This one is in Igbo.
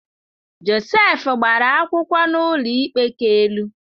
Josef gbara akwụkwọ n’ụlọikpe ka elu